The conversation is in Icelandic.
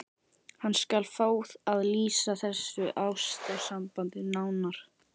Hann skal fá að lýsa þessu ástarsambandi nánar.